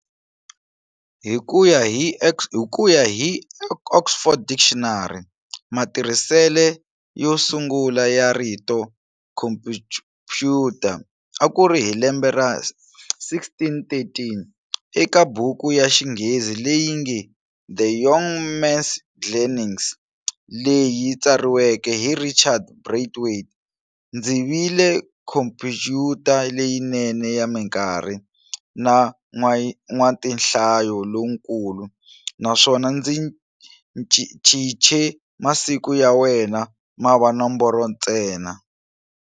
Hikuya hi"Oxford Dictionary", matirhisele yo sungula ya rito"Khompuyuta" akuri hi lembe ra 1613 eka buku ya xinghezi leyinge"The Yong Mans Gleanings" leyi tsariweke hi Richard Braithwait-"Ndzi vile khompuyuta leyinene ya minkarhi, na n'watinhlayo lonkulu, naswona ndzi chiche masiku ya wena mava nomboro ntsena."